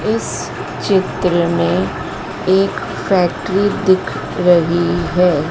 इस चित्र में एक फैक्टरी दिख रही है।